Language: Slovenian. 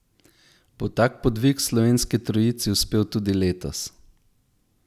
Bo tak podvig slovenski trojici uspel tudi letos?